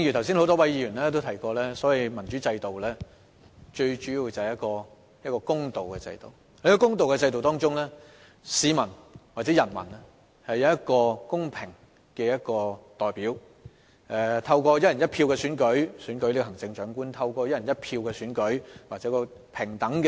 正如多位議員剛才也提到，民主制度就是一個公平的制度，而在這個公平的制度下，市民或人民享有公平的投票權，透過"一人一票"選出行政長官及立法會議員。